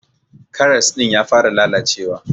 karas din ya fara lallacewa.